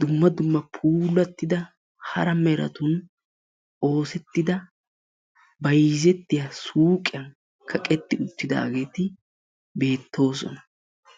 dumma dumma puulattida hara meratun oosettida bayzzettiya suuqqiyan kaqqeti uttidaageeti beetoosona.